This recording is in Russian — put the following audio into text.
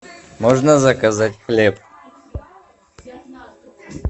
можно заказать хлеб